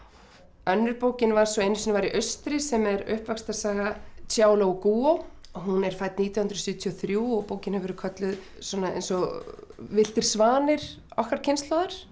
önnur bókin var svo einu sinni var í austri sem er uppvaxtarsaga Xiaolu Guo hún er fædd nítján hundruð sjötíu og þrjú og bókin hefur kölluð eins og villtir svanir okkar kynslóðar